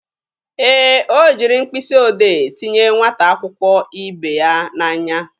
Ee, o jiri mkpịsị odee tinye nwata akwụkwọ ibe ya n'anya.